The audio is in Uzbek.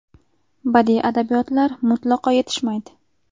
Badiiy adabiyotlar mutlaqo yetishmaydi.